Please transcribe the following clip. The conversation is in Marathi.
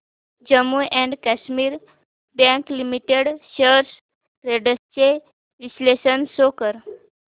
Jammu and Kashmir bank limited shares trends चे विश्लेषण शो कर